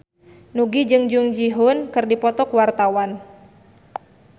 Nugie jeung Jung Ji Hoon keur dipoto ku wartawan